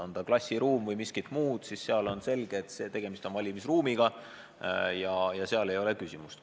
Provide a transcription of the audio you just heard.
On ta klassiruum või miski muu – nende puhul on selge, et tegemist on valimisruumiga, ja siin ei ole küsimustki.